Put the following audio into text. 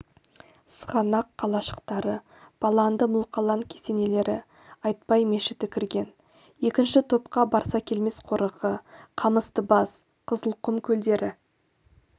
сығанақ қалашықтары баланды мұлқалан кесенелері айтбай мешіті кірген екінші топқа барсакелмес қорығы қамыстыбас қызылқұм көлдері